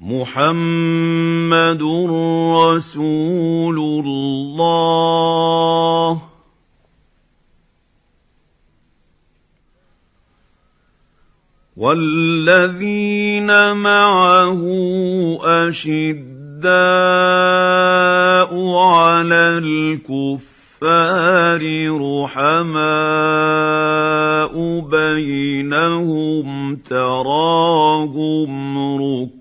مُّحَمَّدٌ رَّسُولُ اللَّهِ ۚ وَالَّذِينَ مَعَهُ أَشِدَّاءُ عَلَى الْكُفَّارِ رُحَمَاءُ بَيْنَهُمْ ۖ تَرَاهُمْ رُكَّعًا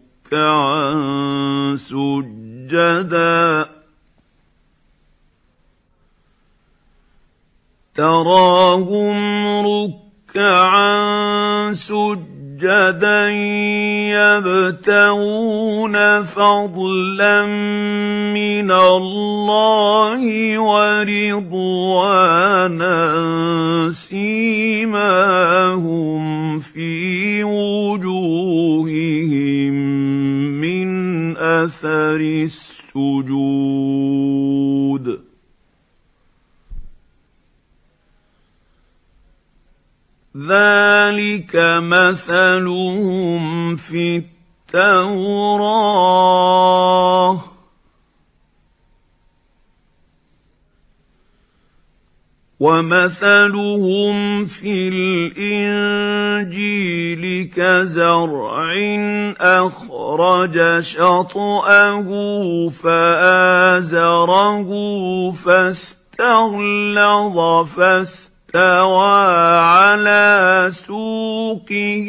سُجَّدًا يَبْتَغُونَ فَضْلًا مِّنَ اللَّهِ وَرِضْوَانًا ۖ سِيمَاهُمْ فِي وُجُوهِهِم مِّنْ أَثَرِ السُّجُودِ ۚ ذَٰلِكَ مَثَلُهُمْ فِي التَّوْرَاةِ ۚ وَمَثَلُهُمْ فِي الْإِنجِيلِ كَزَرْعٍ أَخْرَجَ شَطْأَهُ فَآزَرَهُ فَاسْتَغْلَظَ فَاسْتَوَىٰ عَلَىٰ سُوقِهِ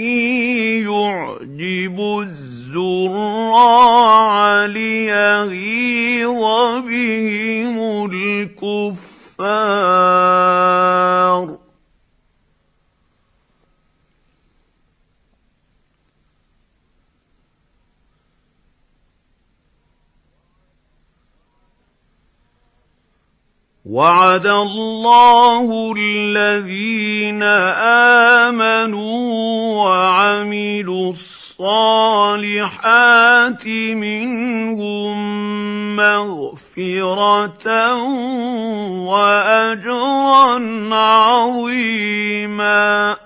يُعْجِبُ الزُّرَّاعَ لِيَغِيظَ بِهِمُ الْكُفَّارَ ۗ وَعَدَ اللَّهُ الَّذِينَ آمَنُوا وَعَمِلُوا الصَّالِحَاتِ مِنْهُم مَّغْفِرَةً وَأَجْرًا عَظِيمًا